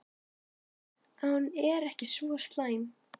Hún sér að hún er ekki svo slæm.